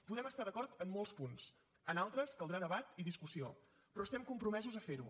podem estar d’acord en molts punts en altres caldrà debat i discussió però estem compromesos a fer ho